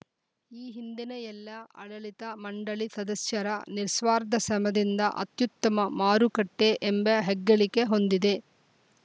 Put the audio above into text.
ಈ ಹಿಂದಿನ ಎಲ್ಲ ಆಡಳಿತ ಮಂಡಳಿ ಸದಸ್ಯರ ನಿಸ್ವಾರ್ಧ ಸಮದಿಂದ ಅತ್ಯುತ್ತಮ ಮಾರುಕಟ್ಟೆಎಂಬ ಹೆಗ್ಗಳಿಕೆ ಹೊಂದಿದೆ